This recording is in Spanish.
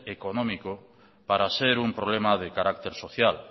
económico para ser un problema de carácter social